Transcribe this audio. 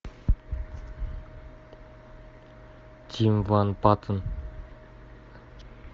тим ван паттен